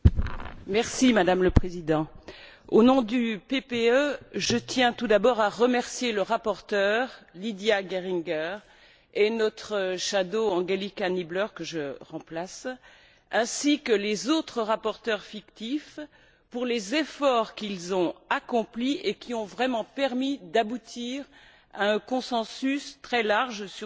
Madame la Présidente, au nom du groupe PPE, je tiens tout d'abord à remercier la rapporteure Lidia Geringer et notre rapporteure fictive Angelika Niebler, que je remplace, ainsi que les autres rapporteurs fictifs pour les efforts qu'ils ont accomplis et qui ont vraiment permis d'aboutir à un consensus très large sur ce texte.